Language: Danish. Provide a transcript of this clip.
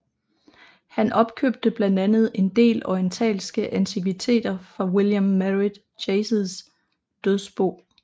Han opkøbte blandt andet en del orientalske antikviteter fra William Merritt Chases dødsbo